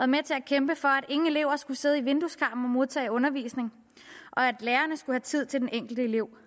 med til at kæmpe for at ingen elever skulle sidde i vindueskarmen og modtage undervisning og at lærerne skulle have tid til den enkelte elev